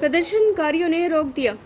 प्रदर्शनकारियों ने रोक दिया